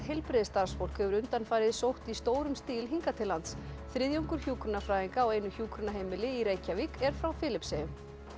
heilbrigðisstarfsfólk hefur undanfarið sótt í stórum stíl hingað til lands þriðjungur hjúkrunarfræðinga á einu hjúkrunarheimili í Reykjavík er frá Filippseyjum